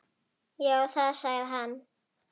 Já, það sagði hann.